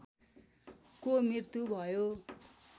को मृत्यु भयो